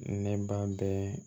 Ne ba bɛ